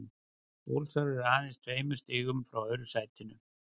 Ólsarar eru aðeins tveimur stigum frá öðru sætinu.